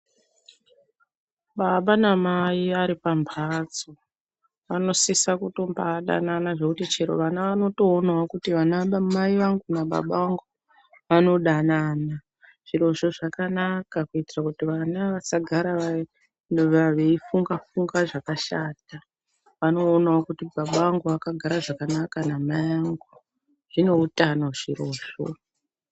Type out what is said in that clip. Baba namai aripambatso vanosisa kumbatodanana zvekuti chero vana vanotoonwo kuti vana mai vangu nababa vangu vanodanana zvirozvo zvakanaka kuitira vana kuti vasagara veifunga funga zvakashata vanoonawo kuti baba vangu vakagara zvakanaka namai angu zvine utano zvirozvo.